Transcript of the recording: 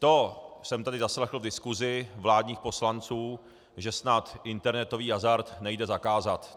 To jsem tady zaslechl v diskusi vládních poslanců, že snad internetový hazard nejde zakázat.